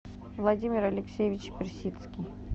владимир алексеевич персидский